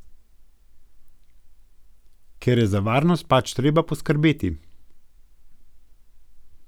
Ker je za varnost pač treba poskrbeti.